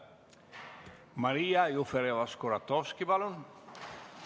Maria Jufereva-Skuratovski, palun!